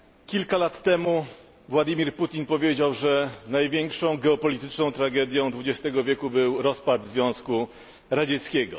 Kilka lat temu Władimir Putin powiedział, że największą geopolityczną tragedią XX wieku był rozpad Związku Radzieckiego.